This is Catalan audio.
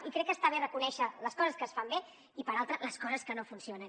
i crec que està bé reconèixer les coses que es fan bé i per altra les coses que no funcionen